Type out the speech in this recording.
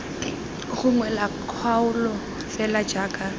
gongwe la kgaolo fela jaaka